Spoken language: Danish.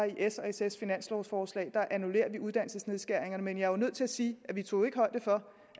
i s og sfs finanslovforslag uddannelsesnedskæringerne men jeg er nødt til at sige at vi tog højde for